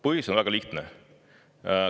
Põhjus on väga lihtne.